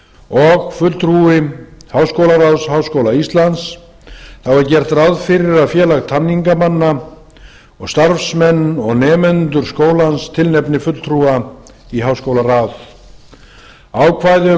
og fulltrúa háskólaráðs háskóla íslands þá er gert ráð fyrir að félag tamningamanna og starfsmenn og nemendur skólans tilnefni fulltrúa í háskólaráð ákvæði um